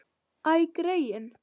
Æ, greyin.